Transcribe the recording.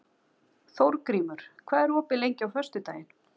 Þórgrímur, hvað er opið lengi á föstudaginn?